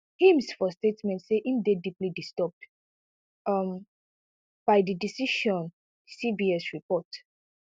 himes for statement say im dey deeply disturbed um by di decision cbs report